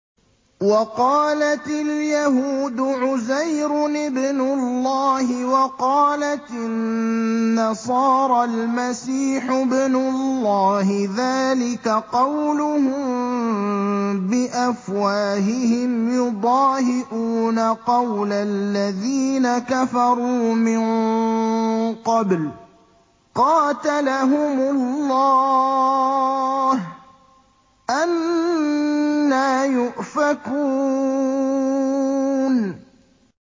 وَقَالَتِ الْيَهُودُ عُزَيْرٌ ابْنُ اللَّهِ وَقَالَتِ النَّصَارَى الْمَسِيحُ ابْنُ اللَّهِ ۖ ذَٰلِكَ قَوْلُهُم بِأَفْوَاهِهِمْ ۖ يُضَاهِئُونَ قَوْلَ الَّذِينَ كَفَرُوا مِن قَبْلُ ۚ قَاتَلَهُمُ اللَّهُ ۚ أَنَّىٰ يُؤْفَكُونَ